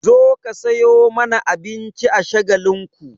Zo ka sayo mana abinci a Shagalinku!